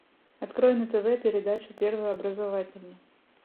открой на тв передачу первый образовательный